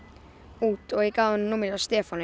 út og ég gaf honum númerið hjá Stefáni